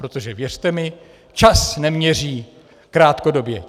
Protože věřte mi, čas neměří krátkodobě.